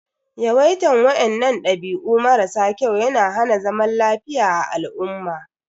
Yawaitan wainnan dabi'u mara sa kyau ya na hana zaman lafiya a al'umma.